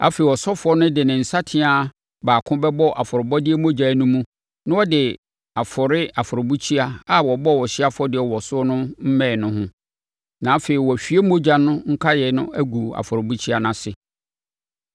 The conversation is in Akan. Afei, ɔsɔfoɔ no de ne nsateaa baako bɛbɔ afɔrebɔdeɛ mogya no mu na ɔde afɔre afɔrebukyia a wɔbɔ ɔhyeɛ afɔdeɛ wɔ so no mmɛn no ho; na afei wɔahwie mogya no nkaeɛ agu afɔrebukyia no ase.